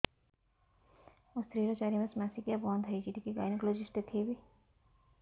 ମୋ ସ୍ତ୍ରୀ ର ଚାରି ମାସ ମାସିକିଆ ବନ୍ଦ ହେଇଛି ଟିକେ ଗାଇନେକୋଲୋଜିଷ୍ଟ ଦେଖେଇବି